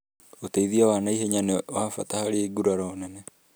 ũteithio wa naihenya nĩ wa bata harĩ nguraro nene